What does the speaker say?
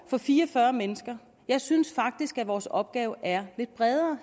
for fire og fyrre mennesker jeg synes faktisk at vores opgave herinde er lidt bredere